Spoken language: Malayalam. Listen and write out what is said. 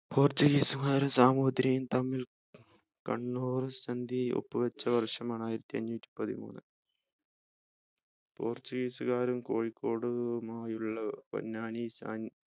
portuguese മാരും സാമൂതിരികളും തമ്മിൽ കണ്ണൂർ സന്ധിയൊപ്പ് വെച്ച വർഷമാണ് ആയിരത്തിഅഞ്ഞൂറ്റി പതിമൂന്ന് portuguese കാരും കോഴിക്കോടുമായി ഉള്ള പൊന്നാനി